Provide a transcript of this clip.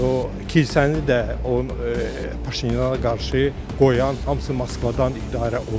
O kilsəni də Paşinyana qarşı qoyan, hamısı Moskvadan idarə olunur.